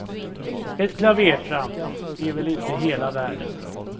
Ett klavertramp är väl inte hela världen.